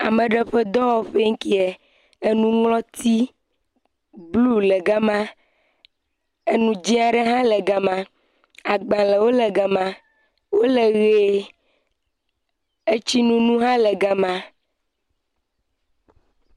Ame ɖe ƒe dɔwɔƒe nkie, enuŋlɔti blu le gama, enu dze aɖe hã le gama, wole ʋe, agbalẽwo le gama etsinunu hã le gama.